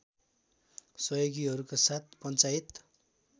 सहयोगीहरूका साथ पञ्चायत